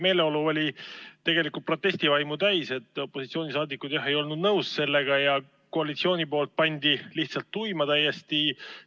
Meeleolu oli tegelikult protestivaimu täis, opositsiooniliikmed ei olnud toimuvaga nõus ja koalitsioon pani lihtsalt täiesti tuima.